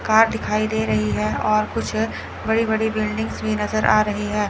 Car दिखाई दे रही है और कुछ बड़ी-बड़ी बिल्डिंग्स भी नजर आ रही है।